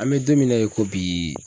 An mɛ don min na i ko bi